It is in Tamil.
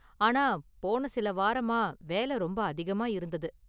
ஆனா, போன சில வாரமா வேல ரொம்ப அதிகமா இருந்தது.